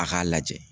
A k'a lajɛ